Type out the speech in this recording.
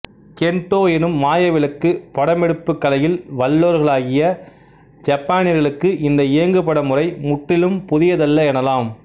கென்ட்டோ எனும் மாயவிளக்கு படமெடுப்புக் கலையில் வல்லவர்களாகிய யப்பானியர்களுக்கு இந்த இயங்குபட முறை முற்றிலும் புதியதல்ல எனலாம்